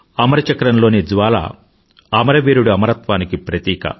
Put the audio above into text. అమర చక్రంలోని జ్వాల అమరవీరుడి అమరత్వానికి ప్రతీక